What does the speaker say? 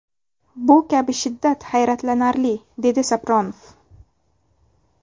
Bu kabi shiddat hayratlanarli”, deydi Sapronov.